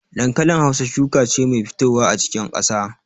Dankalin Hausa shuka ce mai fitowa a cikin ƙasa.